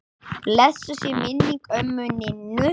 Blessuð sé minning ömmu Ninnu.